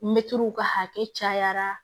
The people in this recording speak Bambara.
Mɛtiriw ka hakɛ cayara